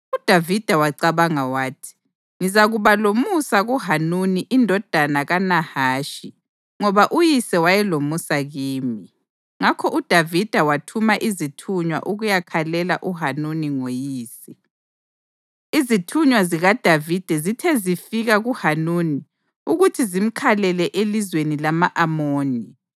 UDavida wacabanga wathi, “Ngizakuba lomusa kuHanuni indodana kaNahashi ngoba uyise wayelomusa kimi.” Ngakho uDavida wathuma izithunywa ukuyakhalela uHanuni ngoyise. Izithunywa zikaDavida zithe zifika kuHanuni ukuthi zimkhalele elizweni lama-Amoni,